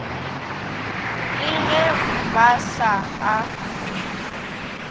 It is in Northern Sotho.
le ge ba sa a